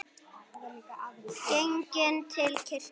Genginn til kirkju.